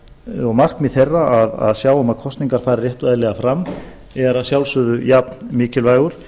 og markmið þeirra að sjá um að kosningar fari rétt og eðlilega fram er að sjálfsögðu jafn mikilvægur